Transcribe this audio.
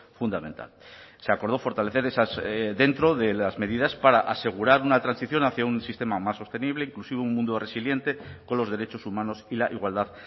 fundamental se acordó fortalecer esas dentro de las medidas para asegurar una transición hacia un sistema más sostenible inclusivo un mundo resiliente con los derechos humanos y la igualdad